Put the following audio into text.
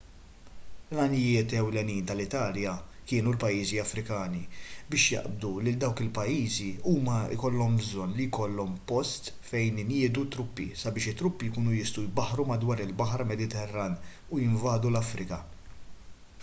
l-għanijiet ewlenin tal-italja kienu l-pajjiżi afrikani biex jaqbdu lil dawk il-pajjiżi huma jkollhom bżonn li jkollhom post minn fejn iniedu t-truppi sabiex it-truppi jkunu jistgħu jbaħħru madwar il-baħar mediterran u jinvadu l-afrika